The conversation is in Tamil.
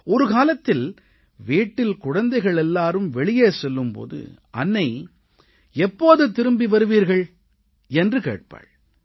ஒரு காலத்தில் வீட்டில் குழந்தைகள் எல்லாரும் வெளியே செல்லும் போது அன்னை எப்போது திரும்பி வருவீர்கள் என்று கேட்பாள்